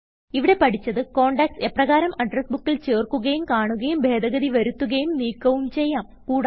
ഇവിടെ പഠിച്ചത് contacts എപ്രകാരം അഡ്രസ് ബുക്കിൽ ചേർക്കുകയും കാണുകയും ഭേദഗതി വരുത്തുകയും നീക്കവും ചെയ്യാം